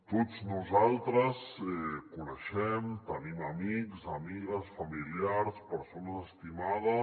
tots nosaltres coneixem tenim amics amigues familiars persones estimades